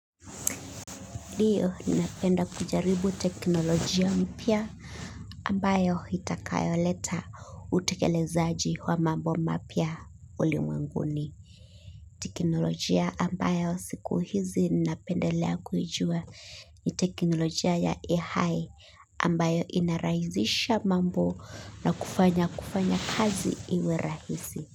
Ndiyo ninapenda kujaribu teknolojia mpya ambayo itakayoleta utekelezaji wa mambo mapya ulimwenguni. Teknolojia ambayo siku hizi ninapendelea kuijua ni teknolojia ya ai ambayo inarahisisha mambo na kufanya kufanya kazi iwe rahisi.